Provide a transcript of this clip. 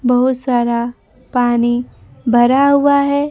बहुत सारा पानी भरा हुआ है।